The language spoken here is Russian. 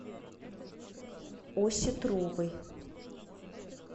осетровой